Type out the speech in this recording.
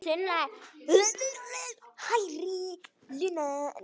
Sunna: Hærri laun?